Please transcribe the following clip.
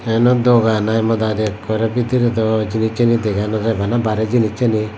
eyano dugan i modaadi ekore bedree do jenisani dega nojai bana bare jenisani.